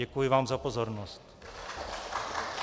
Děkuji vám za pozornost.